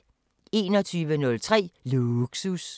21:03: Lågsus